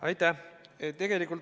Aitäh!